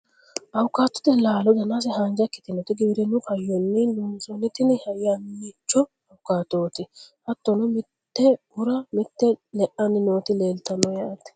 awuukaatote laalo danase haanja ikkitinoti, giwirinnu hayyonni loonsoonni tini yannicho awukaatooti. hattono mite bura mite le'anni nooti leeltanno yaate .